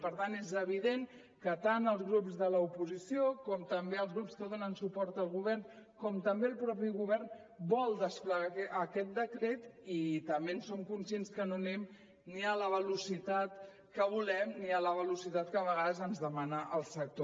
per tant és evident que tant els grups de l’oposició com també els grups que donen suport al govern com també el mateix govern vol desplegar aquest decret i també som conscients que no anem ni a la velocitat que volem ni a la velocitat que a vegades ens demana el sector